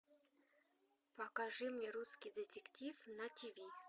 покажи мне русский детектив на тв